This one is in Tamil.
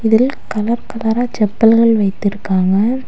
இதில் கலர் கலரா செப்பல்கள் வைத்திருக்காங்க.